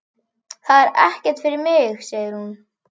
Það er ekkert fyrir mig, segir hún.